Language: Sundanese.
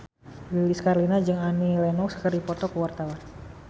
Lilis Karlina jeung Annie Lenox keur dipoto ku wartawan